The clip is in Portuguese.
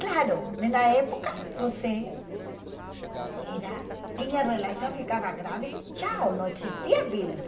Claro, na época você era tinha relação, ficava grávida e tchau, não existia.